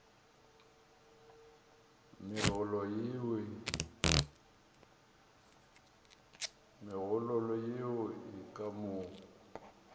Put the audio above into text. megololo yeo e ka mo